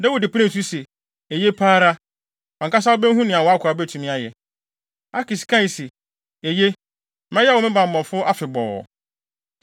Dawid penee so se, “Eye pa ara, wʼankasa wubehu nea wʼakoa betumi ayɛ.” Akis kae se, “Eye, mɛyɛ wo me bammɔfo afebɔɔ.”